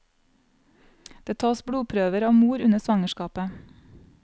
Det tas blodprøver av mor under svangerskapet.